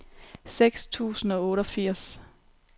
seks tusind og otteogfirs